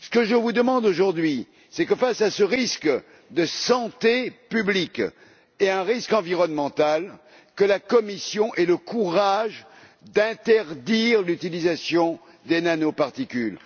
Ce que je vous demande aujourd'hui, c'est que face à ce risque de santé publique et à ce risque environnemental, la Commission ait le courage d'interdire l'utilisation des nanoparticules.